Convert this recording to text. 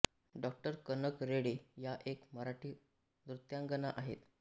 डॉ कनक रेळे या एक मराठी नृत्यांगना आहेत